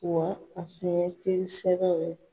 Wa a tun ye n teri sɛbɛw ye.